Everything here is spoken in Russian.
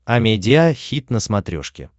амедиа хит на смотрешке